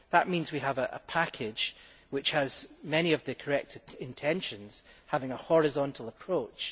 That means we have a package which has many of the correct intentions, such as having a horizontal approach.